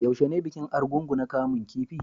Yaushe ne bikin Argungu na kaman kifi?